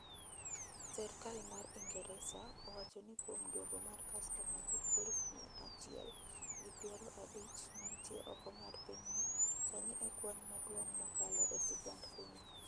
serkal ma ingeresa owacho ni kuom duogo mara kastoma gi aluf mia achiel gi piero abich manntie oko mar pinyno sani e kwan maduong' mokalo e sigand pinyno.